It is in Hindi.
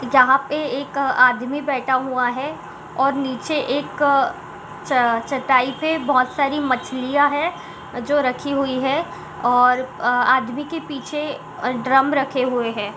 यहाँ पे एक अ आदमी बैठ हुआ है और नीचे एक अ च चटाई पे बोहोत सारी मछलियां है जो रखी हुई है और अ आदमी के पीछे ड्रम रखे हुए हैं।